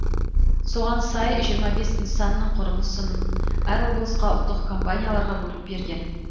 соған сай жиырма бес нысанның құрылысын әр облысқа ұлттық компанияларға бөліп берген